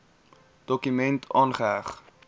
dokument aangeheg